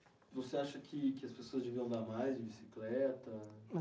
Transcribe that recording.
E você acha que que as pessoas deviam andar mais de bicicleta?